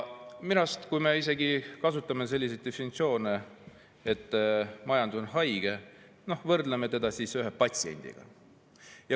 Jah, me kasutame sellist väljendit, et majandus on haige, me võrdleme teda patsiendiga.